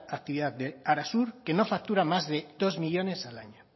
actividad de arasur que no factura más de dos millónes al año